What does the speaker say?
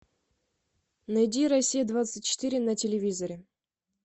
найди россия двадцать четыре на телевизоре